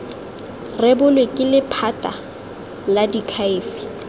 rebolwe ke lephata la diakhaefe